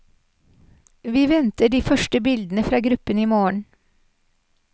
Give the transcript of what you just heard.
Vi venter de første bildene fra gruppen i morgen.